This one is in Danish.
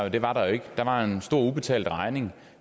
at det var der ikke der var en stor ubetalt regning